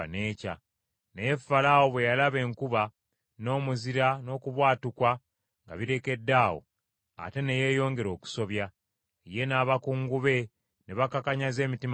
Naye Falaawo bwe yalaba enkuba, n’omuzira, n’okubwatuka nga birekeddaawo, ate ne yeeyongera okusobya; ye n’abakungu be ne bakakanyaza emitima gyabwe.